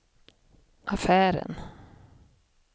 affären